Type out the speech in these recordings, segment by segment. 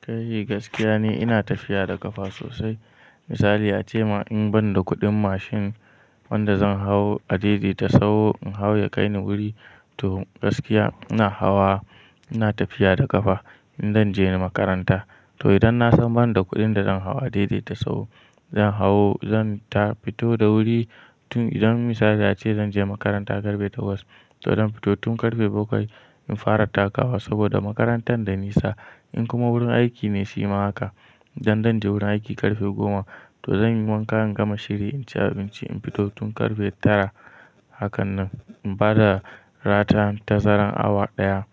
Kai yi gaskiya ne ina tafiya da ƙafa sosai. Misali a ce ma in ban da kuɗin mashin wanda zan hau a daidaita sau in hau ya kai ni wuri, to gaskiya ina hawa ina tafiya da ƙafa in zan je makaranta. To idan na san ban da kuɗin da zan hawa daidaita sau zan hau zan ta fito da wuri tun idan misali a ce zan je makaranta ƙarfe takwas to zan fito tun ƙarfe bakwai in fara takawa saboda makarantar da nisa. In kuma wurin aiki ne shi ma haka, idan zan je wurin aiki ƙarfe goma to zan yi wanka in gama shiri in ci abinci in fito tun ƙarfe tara. Haka nan in bada ratan tazarar awa ɗaya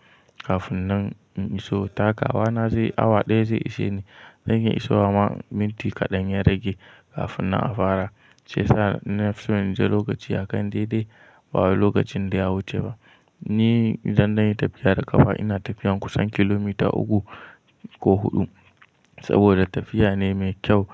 kafin nan in iso takawa na zai awa ɗaya zai ishe ni. Zai iya isowa amma minti kaɗan ya rage kafin na a fara shi yasa na fi so in je lokaci a kan daidai ba lokacin da ya wuce ba. Ni idan na yi tafiya da ƙafa, ina tafiyan kusan kilomita uku ko huɗu saboda tafiya ne mai kyau.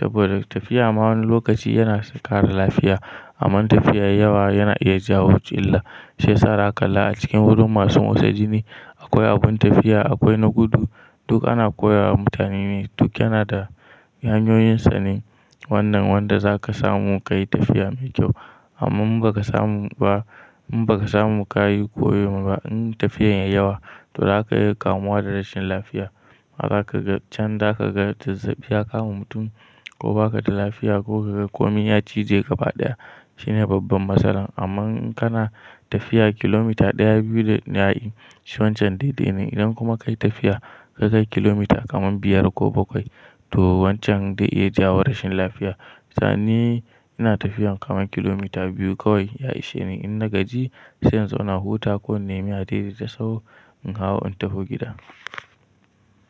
Saboda tafiya ma wani lokaci yana ƙara lafiya amma in tafiya ya yi yawa yana iya jawo illa. Shi ya sa za ka kalla a cikin wurin masu motsa jini akwai abin tafiya akwai na gudu duk ana koya wa mutane ne duk yana da hanyoyinsa ne. Wannan wanda za ka samu ka yi tafiya mai kyau amma in ba ka samu ba in ba ka samu ka yi koyo ma ba in tafiyan ya yi yawa to za ka iya kamuwa da rashin lafiya. Ma za ka gan can za ka gan tazzabiya ya kama mutum ko ba ka da lafiya ko ka ga komai ya cije ƙafa ɗaya shine babban masalan. Amma in kana tafiya kilomita ɗaya, biyu da yayi shi wancan daidai ne idan kuma ka yi tafiya ka kai kilomita kaman biyar ko bakwai to wancan zai iya jawo rashin lafiya. To ni ina tafiyan kaman kilomita biyu kawai ya ishe ni in na gaji sai in zauna huta ko in nemi a daidaita sau in hau in tafi gida.